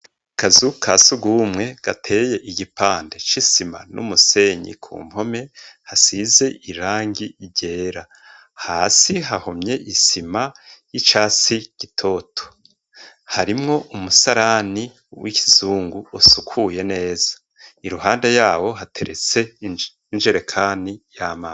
Akazu ka surwumwe gateye igipande c'isima n'umusenyi ku mpome hasize irangi ryera, hasi hahomye isima y'icasi gitoto; harimwo umusarani w'ikizungu usukuye neza, iruhande yawo hateretse injerekani y'amazi.